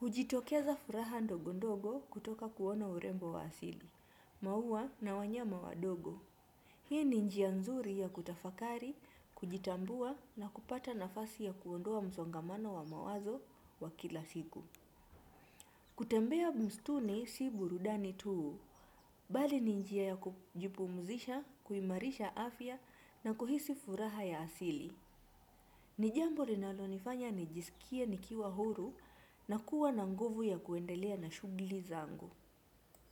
hujitokeza furaha ndogondogo kutoka kuona urembo wa asili. Maua na wanyama wadogo. Hii ni njia nzuri ya kutafakari, kujitambua na kupata nafasi ya kuondoa msongamano wa mawazo wa kila siku. Kutembea msituni si burudani tu. Bali ni njia ya kujipumzisha, kuimarisha afya na kuhisi furaha ya asili. Ni jambo linalonifanya nijisikie nikiwa huru na kuwa na nguvu ya kuendelea na shughuli zangu.